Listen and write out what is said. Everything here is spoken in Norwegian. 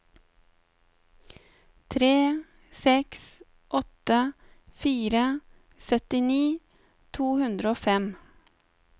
tre seks åtte fire syttini to hundre og fem